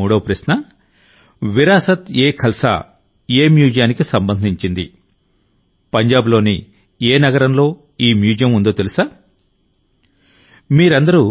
మూడవ ప్రశ్న విరాసత్ఎఖల్సా ఏ మ్యూజియానికి సంబంధించింది పంజాబ్లోని ఏ నగరంలో ఈ మ్యూజియం ఉందో తెలుసా మీరందరూ